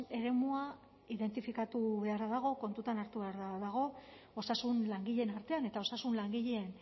eremua identifikatu beharra dago kontuan hartu beharra dago osasun langileen artean eta osasun langileen